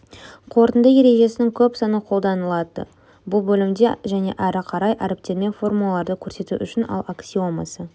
қорытынды ережесінің көп саны қолданылады бұл бөлімде және әрі қарай әріптерін формулаларды көрсету үшін ал аксиомасы